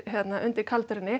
undir